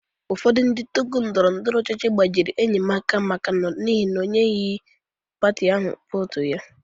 Ụfọdụ ndị tọgụ ndọrọ ndọrọ ọchịchị gbajịrị enyi m aka n'ihi na o nyeghị pati ahụ vootu ya.